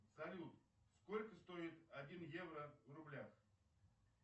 салют сколько стоит один евро в рублях